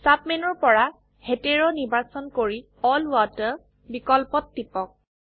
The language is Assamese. সাব মেনুৰ পৰা হেতেৰ নিৰ্বাচন কৰি এল ৱাটাৰ বিকল্পত টিপক